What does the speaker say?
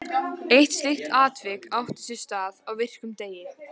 Eitt slíkt atvik átti sér stað á virkum degi.